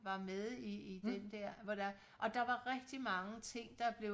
var med i den der hvor der og der var rigtig mange ting der blev